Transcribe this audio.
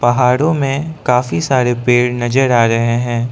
पहाड़ों में काफी सारे पेड़ नजर आ रहे हैं।